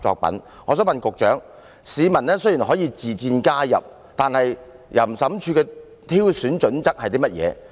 我想請問局長，雖然市民可以自薦加入成為審裁委員，但審裁處的挑選準則為何？